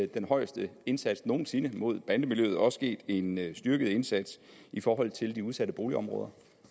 den højeste indsats nogen sinde mod bandemiljøet også sket en styrket indsats i forhold til de udsatte boligområder